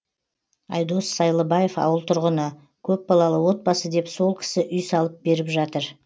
айдос сайлыбаев ауыл тұрғыны көпбалалы отбасы деп сол кісі үй салып беріп жатыр